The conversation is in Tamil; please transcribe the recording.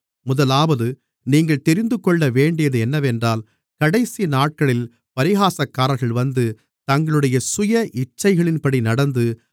முதலாவது நீங்கள் தெரிந்துகொள்ளவேண்டியது என்னவென்றால் கடைசிநாட்களில் பரிகாசக்காரர்கள் வந்து தங்களுடைய சுய இச்சைகளின்படி நடந்து